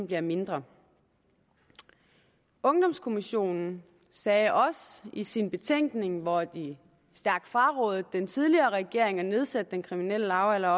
bliver mindre ungdomskommissionen sagde også i sin betænkning hvor de stærkt frarådede den tidligere regering at nedsætte den kriminelle lavalder